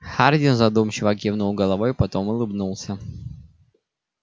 хардин задумчиво кивнул головой потом улыбнулся